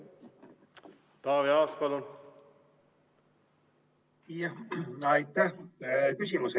Taavi Aas, palun!